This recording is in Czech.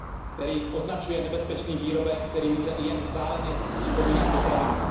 který označuje za nebezpečný výrobek, který může i jen vzdáleně připomínat potravinu.